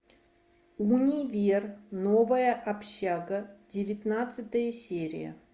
универ новая общага девятнадцатая серия